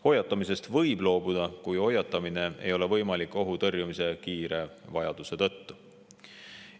Hoiatamisest võib loobuda, kui hoiatamine ei ole võimalik ohu tõrjumise kiire vajaduse tõttu.